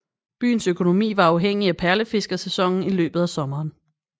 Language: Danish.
Byens økonomi var afhængig af perlefiskersæsonen i løbet af sommeren